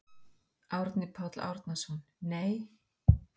Árni Páll Árnason: Nei.